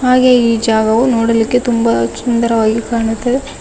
ಹಾಗೇ ಈ ಜಾಗವು ನೋಡಲಿಕ್ಕೆ ತುಂಬ ಸುಂದರವಾಗಿ ಕಾಣುತ್ತದೆ.